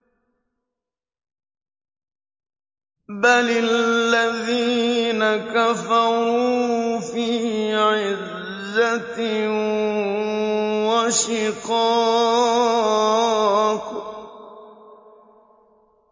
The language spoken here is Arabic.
بَلِ الَّذِينَ كَفَرُوا فِي عِزَّةٍ وَشِقَاقٍ